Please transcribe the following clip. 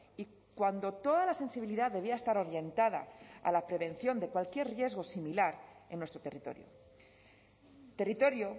y cuando toda la sensibilidad debía estar orientada a la prevención de cualquier riesgo similar en nuestro territorio territorio